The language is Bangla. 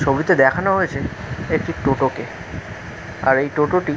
ছবিতে দেখানো হয়েছে একটি টোটো কে আর এই টোটো টি--